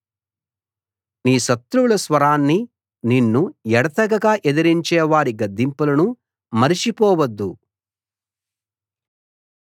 నీ శత్రువుల స్వరాన్ని నిన్ను ఎడతెగక ఎదిరించేవారి గర్జింపులను మరచిపోవద్దు